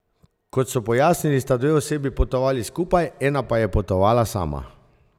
Kot so pojasnili, sta dve osebi potovali skupaj, ena pa je potovala sama.